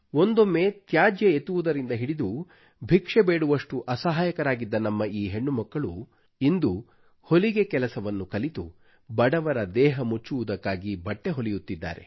ಒಂದೊಮ್ಮೆ ತ್ಯಾಜ್ಯ ಎತ್ತುವುದರಿಂದ ಹಿಡಿದು ಭಿಕ್ಷೆ ಬೇಡುವಷ್ಟು ಅಸಹಾಯಕರಾಗಿದ್ದ ನಮ್ಮ ಈ ಹೆಣ್ಣುಮಕ್ಕಳು ಇಂದು ಹೊಲಿಗೆ ಕೆಲಸವನ್ನು ಕಲಿತು ಬಡವರ ದೇಹ ಮುಚ್ಚುವುದಕ್ಕಾಗಿ ಬಟ್ಟೆ ಹೊಲೆಯುತ್ತಿದ್ದಾರೆ